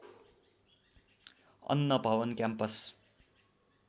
अन्न भवन क्याम्पस